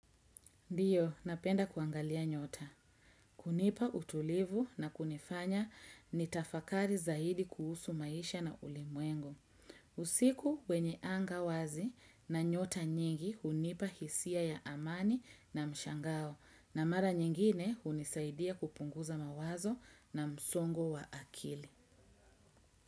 Ndiyo, napenda kuangalia nyota. Kunipa utulivu na kunifanya ni tafakari zaidi kuhusu maisha na ulimwengu. Usiku wenye anga wazi na nyota nyingi hunipa hisia ya amani na mshangao na mara nyingine hunisaidia kupunguza mawazo na msongo wa akili.